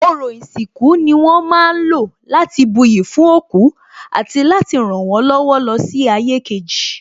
Ọrọ̀ ìsìnkú ni wón ma ń lò láti buyì fún òkú àti láti rànwọ́n lọ́wọ́ lọ sí ayé kejì